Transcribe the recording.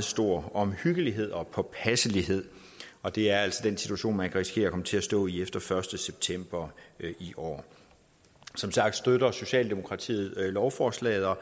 stor omhyggelighed og påpasselighed og det er altså den situation man kan risikere at komme til at stå i efter den første september i år som sagt støtter socialdemokratiet lovforslaget og